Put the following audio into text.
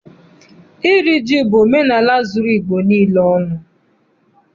Iri ji bụ omenaala zuru Igbo niile ọnụ.